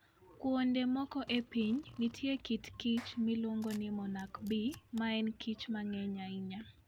Kuonde moko e piny, nitie kit kich miluongo ni monarch bee, ma en kich mang'eny ahinya.